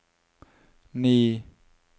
ni